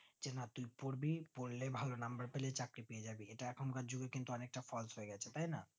যে না তুই পড়বি পড়লেই ভালো number পেলে চাকরি পেয়ে জাবি ইটা এখন কার যুগে অনেকটা false হয়ে গেছে তাই না